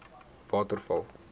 waterval